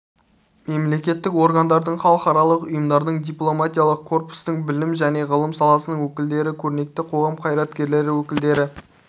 мемлекеттік органдардың халықаралық ұйымдардың дипломатиялық корпустың білім және ғылым саласының өкілдері көрнекті қоғам қайраткерлері өкілдері